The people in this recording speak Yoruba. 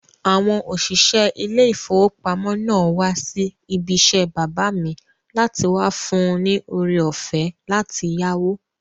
Àwọn òṣìṣẹ́ ilé ìfowópamọ́ náà wá sí ibi isẹ́ bàbá mi láti wá fún un ní ore-ọ̀fẹ́ láti yáwó